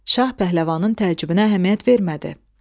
Şah pəhləvanın təəccübünə əhəmiyyət vermədi.